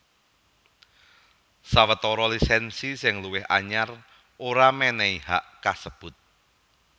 Sawetara lisènsi sing luwih anyar ora mènèhi hak kasebut